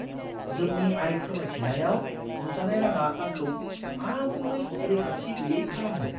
जोंनि आय फोरमायथियाव नुजानाय राङा आंखौ आबुङै रैखाथि गैयै खालामदों।